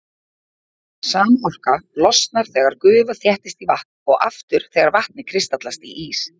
Sama orka losnar þegar gufa þéttist í vatn og aftur þegar vatnið kristallast í ís.